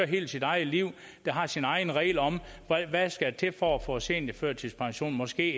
helt sit eget liv har sine egne regler for hvad der skal til for at få seniorførtidspension måske